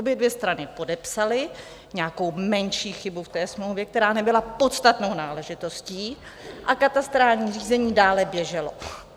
Obě dvě strany podepsaly nějakou menší chybu v té smlouvě, která nebyla podstatnou náležitostí, a katastrální řízení dále běželo.